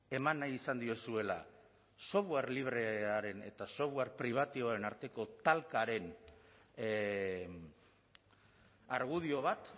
eman nahi izan diozuela software librearen eta software pribatiboaren arteko talkaren argudio bat